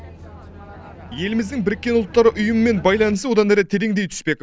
еліміздің біріккен ұлттар ұйымымен байланысы одан әрі тереңдей түспек